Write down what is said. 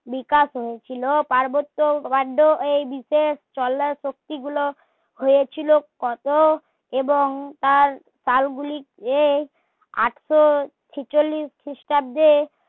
বিকাশ হয়েছিল ওই বিশেষ চলার শক্তি গুলো হয়েছিল কত এবং তার সাল গুলি কে আটশো ছিচল্লিস খিষ্টাব্দে